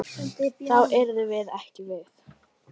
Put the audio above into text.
Þá yrðum við ekki við.